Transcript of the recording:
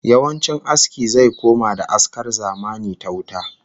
Yawancin aski zai koma da askar zamani ta wuta